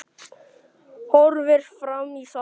Horfir fram í salinn.